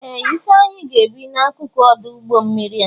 Ee! Ifeanyi ga-ebi n'akụkụ ọdụ ụgbọ mmiri a.